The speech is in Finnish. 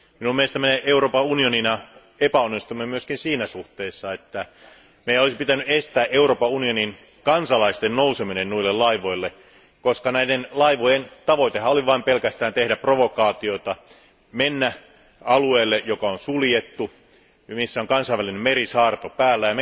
Mielestäni me Euroopan unionina epäonnistuimme myös siinä suhteessa, että meidän olisi pitänyt estää Euroopan unionin kansalaisten nouseminen noille laivoille, koska näiden laivojen tavoitehan oli tehdä pelkästään provokaatiota, mennä suljetulle alueelle, missä on kansainvälinen merisaarto päällä.